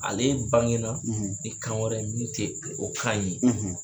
Ale bange na ni kan wɛrɛ ye min tɛ o kan in ye.